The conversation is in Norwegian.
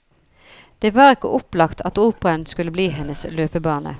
Det var ikke opplagt at operaen skulle bli hennes løpebane.